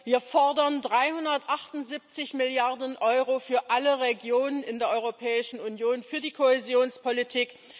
Wir fordern 378 Milliarden Euro für alle Regionen in der Europäischen Union für die Kohäsionspolitik.